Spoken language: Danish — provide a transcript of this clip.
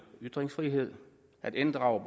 ytringsfriheden at inddrage